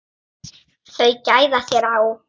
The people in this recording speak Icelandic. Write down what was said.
Þau gæða sér á